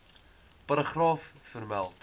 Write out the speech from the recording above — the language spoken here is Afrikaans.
paragraaf vermeld